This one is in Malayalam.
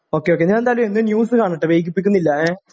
ഓക്കെ ഓക്കെ ഞാൻ എന്തായാലും ഒന്ന് ന്യൂസ് കാണട്ടെ വൈകിപ്പിക്കുന്നില്ല ഏ